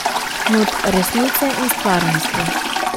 Not resnice in stvarnosti.